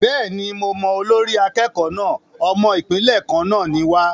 Bẹ́ẹ̀ni, mo mọ olórí akẹ́kọ̀ọ́ náà. Ọmọ Ìpínlẹ̀ kan náà ni wa.